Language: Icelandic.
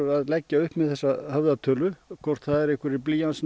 að leggja upp með þessa höfðatölu hvort það eru einhverjir